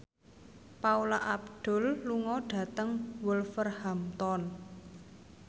Paula Abdul lunga dhateng Wolverhampton